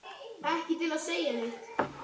Ekki til að segja neitt.